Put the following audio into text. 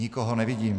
Nikoho nevidím.